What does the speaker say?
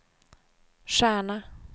stjärna